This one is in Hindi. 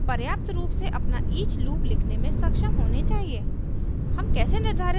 अब आप पर्याप्त रूप से अपना each लूप लिखने में सक्षम होने चाहिए